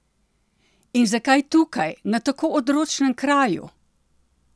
In zakaj tukaj, na tako odročnem kraju?